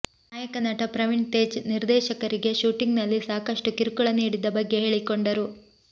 ನಾಯಕ ನಟ ಪ್ರವೀಣ್ ತೇಜ್ ನಿರ್ದೇಶಕರಿಗೆ ಶೂಟಿಂಗ್ನಲ್ಲಿ ಸಾಕಷ್ಟು ಕಿರುಕುಳ ನೀಡಿದ್ದ ಬಗ್ಗೆ ಹೇಳಿಕೊಂಡರು